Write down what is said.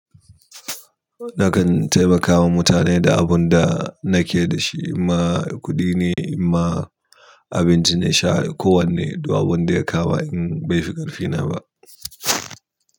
Nakan taimakawa mutane da abun da nake da shi. Inma kuɗi ne, inma abinci ne. Sha kowane duk abun da ya kama in bai fi ƙarfi na ba.